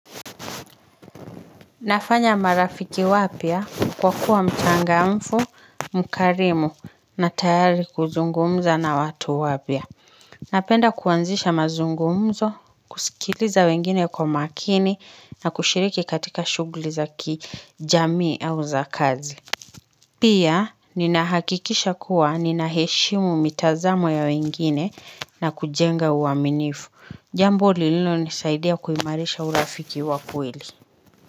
Nafanya marafiki wapya kwa kuwa mchangamfu, mkarimu na tayari kuzungumza na watu wapya. Napenda kuanzisha mazungumzo, kusikiliza wengine kwa makini na kushiriki katika shughuli za kijamii au za kazi. Pia, ninahakikisha kuwa ninaheshimu mitazamo ya wengine na kujenga uaminifu. Jambo lililo nisaidia kuimarisha urafiki wakweli.